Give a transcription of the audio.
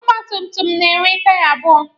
Ọgba tum tum na-enwe taya abụọ.